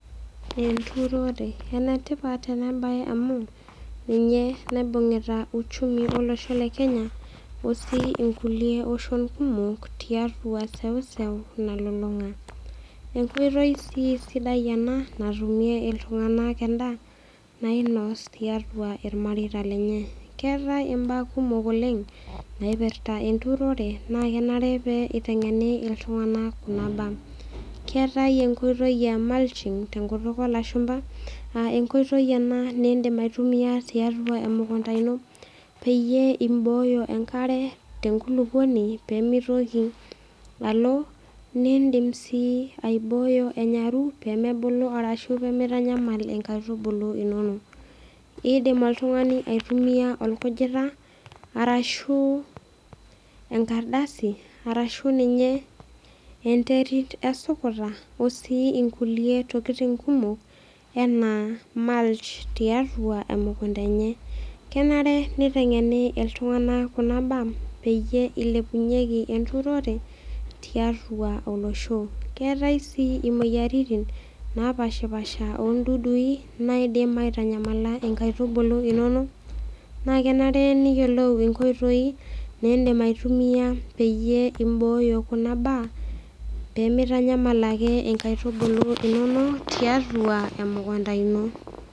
Enturore enetipat ena mbae amu ninye naibungieta uchumi olosho le Kenya tenebo si kulie oshon kumok tiatua sewuseu nalulung'a enkoitoi sidai ena natumie iltung'ana endaa nainos tiatua irmareita lenye keetae mbaa kumok oleng naipirta enturore na kenare pee eiteng'ene iltung'ana Kuna mbaa keetae enkoitoi ee mulching tee nkutukuk oo lashumba aa enkoitoi ena nidim aitumia tiatua emukunda eno peeyie e oyo enkare tee nkulupuoni pee mitoki alo nidim sii aboi enyaru pee mebulu arashu pee mitanyamal enkaitubulu enono edim oltung'ani aitumia orkujita arashu enkardasi arashu ninye enteri esukuta oo sii nkulie tokitin kumok ena mulch tiatua emukunda enye kenare nitengene iltung'ana Kuna mbaa pee eilepunyeki enturore tiatua olosho keetaysii moyiaritin napashipasha oo dudui naidim aitanyamala enkaitubulu enono naa kenare niyiolou enkoitoi nidim aitumia pibooyo Kuna mbaa pee mitanyamal ake nkaitubulu enono tiatua emukunda eno